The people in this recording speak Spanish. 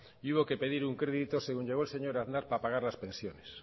y hubo que pedir un crédito según llegó el señor aznar para pagar las pensiones